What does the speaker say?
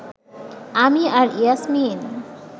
আমি আর ইয়াসমিন